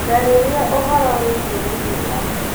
njararĩa ũhoro wĩigie gĩthima